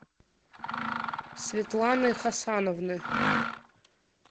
светланы хасановны